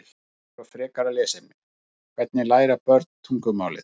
Heimildir og frekara lesefni: Hvernig læra börn tungumálið?